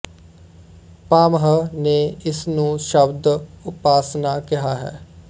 ਭਾਮਹ ਨੇ ਇਸ ਨੂੰ ਸ਼ਬਦ ਉਪਾਸ਼ਨਾ ਕਿਹਾ ਹੈ